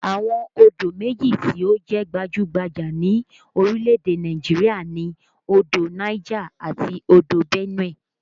Àwọn odò méjì tí ó jẹ́ gbajú-gbajà ní orílè-èdè Nàìjirià ni odò Niger àti odò Benue